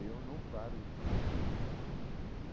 Eu não paro de treinar.